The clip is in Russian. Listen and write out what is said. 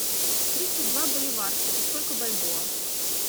тридцать два боливара это сколько бальбоа